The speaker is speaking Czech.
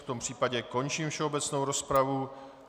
V tom případě končím všeobecnou rozpravu.